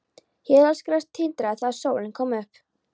Hélað gras tindraði þegar sólin kom upp.